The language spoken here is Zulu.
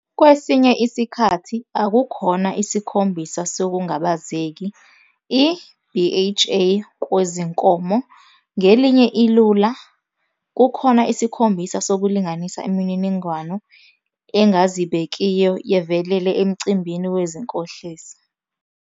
Kwesinye isikhathi, akukhona isikhombisa sokungabazeki i-BHA kwezinkomo, ngelinye ilula, kukhona isikhombisa sokulinganisa imininingwane engazibekiyo yevelele emcimbini wezinkohliso.